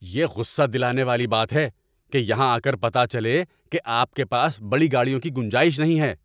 یہ غصہ دلانے والی بات ہے کہ یہاں آ کر پتہ چلے کہ آپ کے پاس بڑی گاڑیوں کی گنجائش نہیں ہے۔